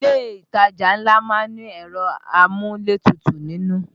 Ilé ìtajà ńlá má ń ní ẹ̀rọ amúlétutù nínú